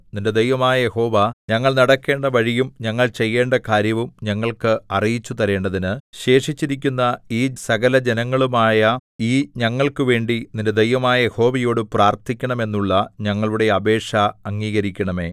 നിന്റെ ദൈവമായ യഹോവ ഞങ്ങൾ നടക്കേണ്ട വഴിയും ഞങ്ങൾ ചെയ്യേണ്ട കാര്യവും ഞങ്ങൾക്ക് അറിയിച്ചുതരേണ്ടതിന് ശേഷിച്ചിരിക്കുന്ന ഈ സകലജനവുമായ ഈ ഞങ്ങൾക്കുവേണ്ടി നിന്റെ ദൈവമായ യഹോവയോടു പ്രാർത്ഥിക്കണം എന്നുള്ള ഞങ്ങളുടെ അപേക്ഷ അംഗീകരിക്കണമേ